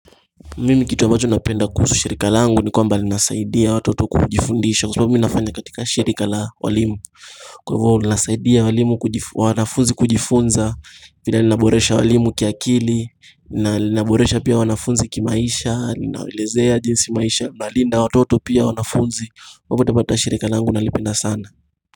Mimi kitu ambacho napenda kuhusu shirika langu ni kwamba linasaidia watoto kujifundisha Kwa sababu mimi nafanya katika shirika la walimu Kwa hivo linasaidia walimu wanafunzi kujifunza vile linaboresha walimu kiakili na linaboresha pia wanafunzi kimaisha linawalezea jinsi maisha na linda watoto pia wanafunzi popote pale shirika langu nalipenda sana.